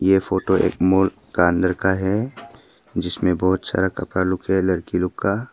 ये फोटो एक माल का अंदर का है जिसमें बहुत सारा कपड़ा लोग है लड़की लोग का।